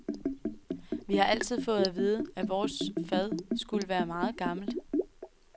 Vi har altid fået at vide, at vores fad skulle være meget gammelt.